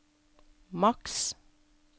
maks